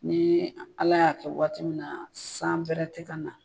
Ni ala y'a kɛ waati min na san pɛrɛn tɛ ka na.